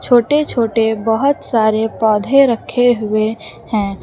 छोटे छोटे बहुत सारे पौधे रखे हुए हैं।